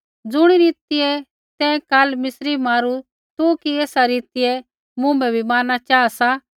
ज़ुणी रीतिऐ तैं काल मिस्री मारू तू कि तेसा रीतिऐ मुँभै बी मारना चाहा सा